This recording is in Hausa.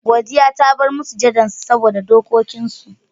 Godiya ta bar masujadan su saboda dokikin su.